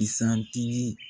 isan tigi